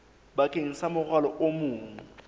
bakeng sa morwalo o mong